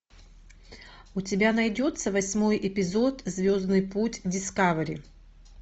у тебя найдется восьмой эпизод звездный путь дискавери